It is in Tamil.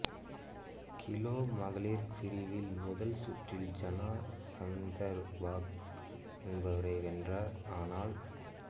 கிலோ மகளிர் பிரிவில் முதல் சுற்றில் ஜான சந்தர்பக் என்பவரை வென்றார் ஆனால்